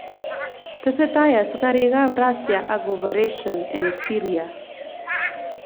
Tesetei askarik ab Rasia ak operesyen eng Syria